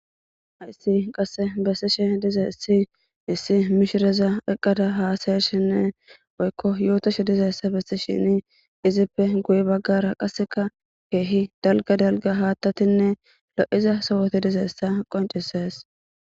hayssi qasse bessishe diza issi issi mishireza eqqada haasayeshinne oykko yootoshe diza issa besti shini izippe guye baggara qasseka keehi dalga dalga haattatinne lo7iza sowoti dizaessa qoncises